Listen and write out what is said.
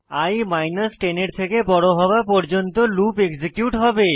ই 10 এর থেকে বড় হওয়া পর্যন্ত এক্সিকিউট হবে